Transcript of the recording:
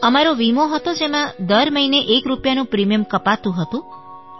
અમારો વીમો હતો જેમાં દર મહિને એક રૂપિયાનું પ્રિમિયમ કપાતું હતું